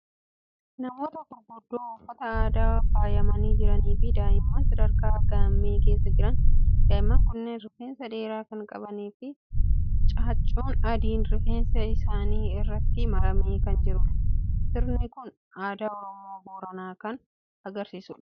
Namoota gurguddoo uffata aadaan faayamanii jiranii fi daa'imman sadarkaa gaammee keessa jiran. Daa'imman kunneen rifeensa dheeraa kan qabanii fi caaccuun adiin rifeensa isaanii irratti maramee kan jirudha. Sirni kun aadaa Oromoo Booranaa kan argisiisudha.